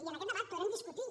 i en aquest debat podrem discutir